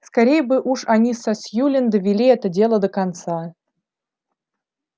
скорей бы уж они со сьюлин довели это дело до конца